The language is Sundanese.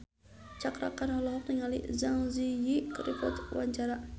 Cakra Khan olohok ningali Zang Zi Yi keur diwawancara